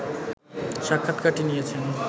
স্বাক্ষাৎকারটি নিয়েছেন